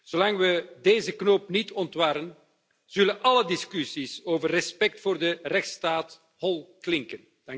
Zolang we deze knoop niet ontwarren, zullen alle discussies over respect voor de rechtsstaat hol klinken.